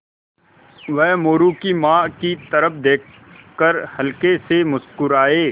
वह मोरू की माँ की तरफ़ देख कर हल्के से मुस्कराये